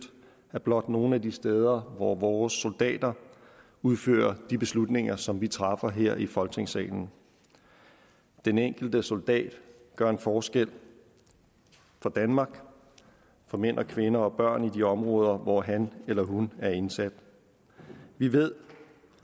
er blot nogle af de steder hvor vores soldater udfører de beslutninger som vi træffer her i folketingssalen den enkelte soldat gør en forskel for danmark for mænd kvinder og børn i de områder hvor han eller hun er indsat vi ved